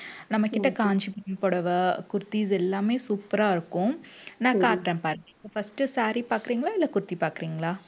நம்ம கிட்ட காஞ்சி புடவை kurtis எல்லாமே super ஆ இருக்கும். நான் காட்டறேன் பாருங்க. first saree பாக்குறீங்களா இல்ல kurti பாக்குறீங்களா